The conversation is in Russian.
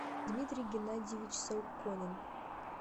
дмитрий геннадьевич саукконен